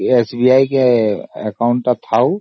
SBI account ଟା ଥାଉ